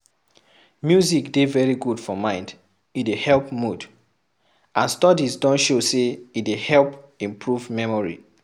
Music dey very good for mind, e dey help mood and studies don show sey e dey help imporve memory